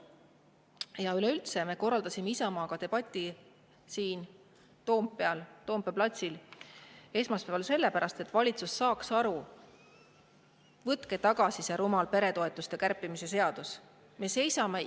Ja üleüldse, me korraldasime Isamaaga siin Toompeal platsil esmaspäeval debati, et valitsus saaks aru: võtke tagasi see rumal peretoetuste kärpimise!